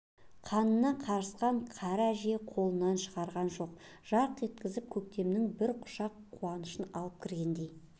қанына қарысқан кәрі әже қолынан шығарған жоқ жарқ еткізіп көктемнің бір құшақ қуанышын алып кіргендей